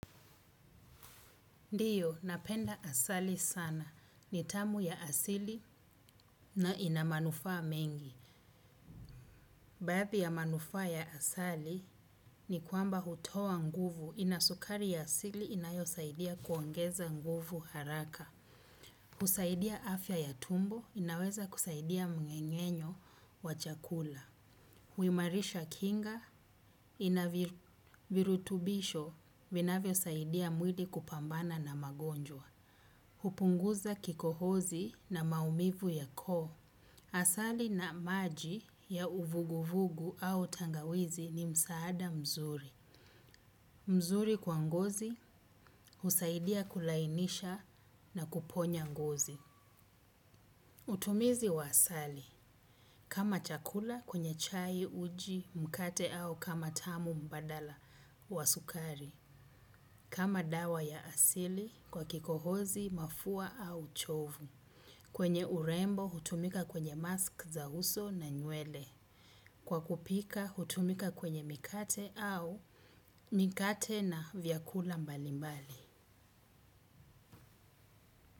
Ndio, napenda asali sana. Ni tamu ya asili na ina manufaa mengi. Baadhi ya manufaa ya asali ni kwamba hutoa nguvu, ina sukari ya asili inayosaidia kuongeza nguvu haraka. Husaidia afya ya tumbo, inaweza kusaidia mng'eng'enyo wa chakula. Huimarisha kinga, ina virutubisho, vinavyosaidia mwili kupambana na magonjwa. Hupunguza kikohozi na maumivu ya koo. Asali na maji ya uvuguvugu au tangawizi ni msaada mzuri. Mzuri kwa ngozi husaidia kulainisha na kuponya ngozi. Utumizi wa asali. Kama chakula kwenye chai, uji, mkate au kama tamu mbadala wa sukari. Kama dawa ya asili kwa kikohozi, mafua au uchovu. Kwenye urembo hutumika kwenye mask za uso na nywele. Kwa kupika hutumika kwenye mikate au mikate na vyakula mbalimbali.